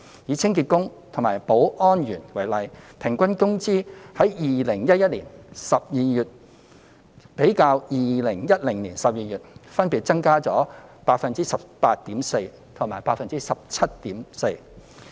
以清潔工及保安員為例 ，2011 年12月的平均工資較2010年12月的水平分別增加了 18.4% 及 17.4%。